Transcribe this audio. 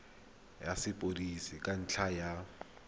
ya sepodisi ka ntlha ya